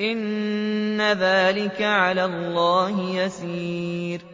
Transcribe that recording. إِنَّ ذَٰلِكَ عَلَى اللَّهِ يَسِيرٌ